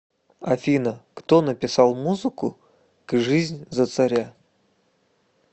афина кто написал музыку к жизнь за царя